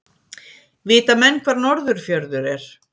Vita menn hvar Norðurfjörður er?